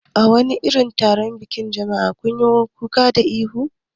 A wani irin taron biki ne jama'a kanyi kuka da ihu?